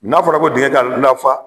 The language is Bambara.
N'a fɔra ko dingɛ ka lafa